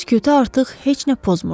Skutə artıq heç nə pozmurdu.